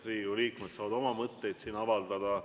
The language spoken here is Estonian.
Riigikogu liikmed saavad siin oma mõtteid avaldada.